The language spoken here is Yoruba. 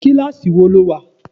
Kíláàsì wo lo wà?